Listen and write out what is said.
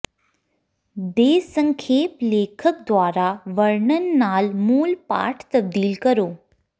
ਦੇ ਸੰਖੇਪ ਲੇਖਕ ਦੁਆਰਾ ਵਰਣਨ ਨਾਲ ਮੂਲ ਪਾਠ ਤਬਦੀਲ ਕਰੋ